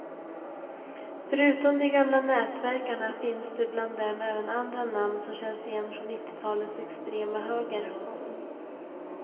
Förutom de gamla nätverkarna finns det bland dem även andra namn som känns igen från nittiotalets extrema höger.